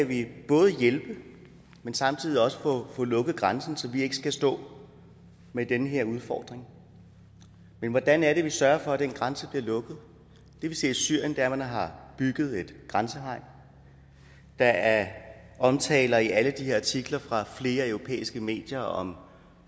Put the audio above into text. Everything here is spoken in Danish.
vi både kan hjælpe men samtidig også få lukket grænsen så vi ikke skal stå med den her udfordring men hvordan er det vi sørger for at den grænse bliver lukket det vi ser i syrien er at man har bygget et grænsehegn der er omtaler i alle de her artikler fra flere europæiske medier om